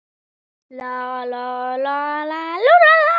Okkur langar að heimsækja